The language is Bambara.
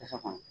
Tasa kɔnɔ